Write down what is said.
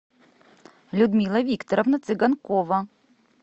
людмила викторовна цыганкова